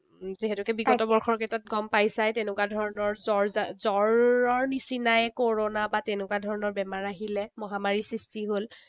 যিহেতুকে বিগত বৰ্ষৰ কেইটাত গম পাইছাই, তেনেকুৱা ধৰণৰ জ্বৰ জ্বৰৰ নিচিনাই কৰনা বা তেনেকুৱা ধৰণৰ বেমাৰ আহিলে। মহামাৰীৰ সৃষ্টি হল।